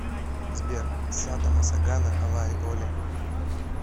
сбер сатта массагана алай оли